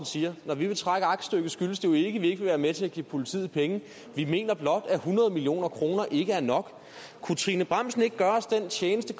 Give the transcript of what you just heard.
siger at når vi vil trække aktstykket skyldes det vi ikke vil være med til at give politiet penge vi mener blot at hundrede million kroner ikke er nok kunne trine bramsen ikke gøre os den tjeneste